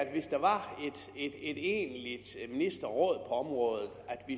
hvis der var et egentligt ministerråd på området